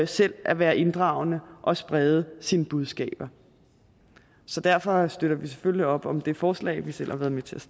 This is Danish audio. selv at være inddragende og sprede sine budskaber så derfor støtter vi selvfølgelig op om det forslag vi selv har været med til at